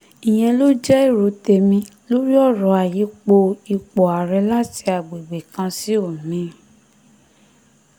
ìyẹn ló jẹ́ èrò tèmi lórí ọ̀rọ̀ ayípo ipò ààrẹ láti agbègbè kan sí òmíì